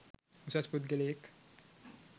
උසස් පුද්ගලයෙක්.